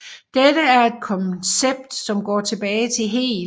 Dette er et koncept som går tilbage til Hegel